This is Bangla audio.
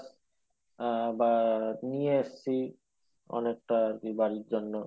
আহ বা নিয়ে এসছি অনেকটা বাড়ির জন্য